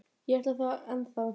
Ég ætla það ennþá.